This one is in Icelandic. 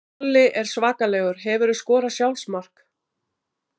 Kolli er svakalegur Hefurðu skorað sjálfsmark?